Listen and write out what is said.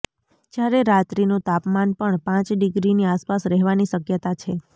જ્યારે રાત્રીનું તાપમાન પણ પાંચ ડિગ્રીની આસપાસ રહેવાની શક્યતા છે